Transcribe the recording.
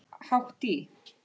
Hátt í